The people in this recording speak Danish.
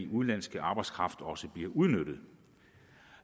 udenlandske arbejdskraft også bliver udnyttet